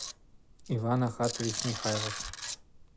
иван ахатович михайлов